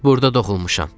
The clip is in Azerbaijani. Burda doğulmuşam.